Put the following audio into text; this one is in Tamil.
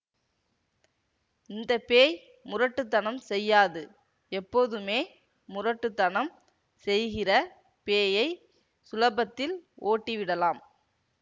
இந்த பேய் முரட்டு தனம் செய்யாது எப்போதுமே முரட்டு தனம் செய்கிற பேயை சுலபத்தில் ஓட்டிவிடலாம்